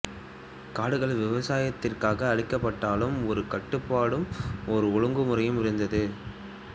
காடுகள் விவசாயத்திற்காக அழிக்கப்பட்டாலும் ஒரு கட்டுப்பாடும் ஓர் ஒழுங்கு முறையும் இருந்தது